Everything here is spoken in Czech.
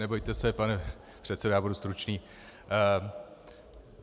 Nebojte se, pane předsedo, já budu stručný.